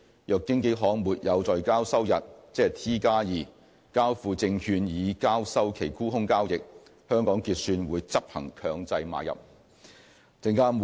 若經紀行沒有在交收日交付證券以交收其沽空交易，香港結算會執行強制買入。